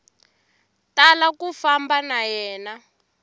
tala ku famba na yena